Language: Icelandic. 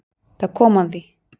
Það kom að því.